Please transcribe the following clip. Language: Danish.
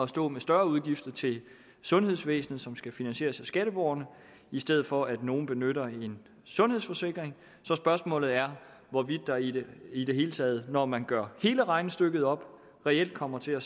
stå med større udgifter til sundhedsvæsenet som skal finansieres af skatteborgerne i stedet for at nogle benytter en sundhedsforsikring så spørgsmålet er hvorvidt der i det i det hele taget når man gør hele regnestykket op reelt kommer til at